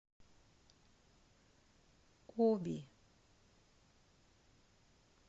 оби